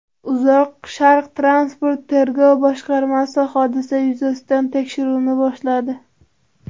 Uzoq Sharq transport tergov boshqarmasi hodisa yuzasidan tekshiruvni boshladi.